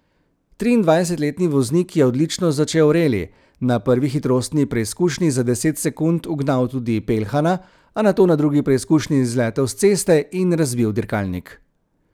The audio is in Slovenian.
Triindvajsetletni voznik je odlično začel reli, na prvi hitrostni preizkušnji za deset sekund ugnal tudi Peljhana, a nato na drugi preizkušnji zletel s ceste in razbil dirkalnik.